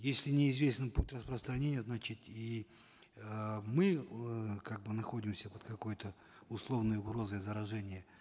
если неизвестен путь распространения значит и э мы вот э как бы находимся под какой то условной угрозой заражения